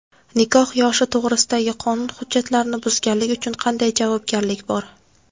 Nikoh yoshi to‘g‘risidagi qonun hujjatlarini buzganlik uchun qanday javobgarlik bor?.